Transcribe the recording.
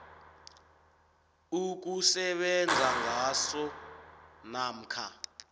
ukusebenza ngaso namkha